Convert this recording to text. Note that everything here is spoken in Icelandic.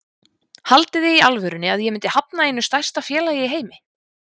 Haldiði í alvörunni að ég myndi hafna einu stærsta félagi í heimi?